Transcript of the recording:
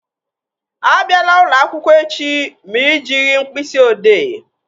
Abịala ụlọakwụkwọ echi ma ị jighị mkpịsị odee!